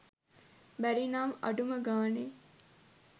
බැරි නම් අඩුම ගාණේ